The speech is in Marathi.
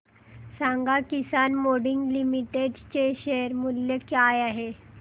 सांगा किसान मोल्डिंग लिमिटेड चे शेअर मूल्य काय आहे